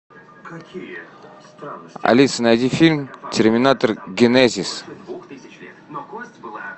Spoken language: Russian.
алиса найди фильм терминатор генезис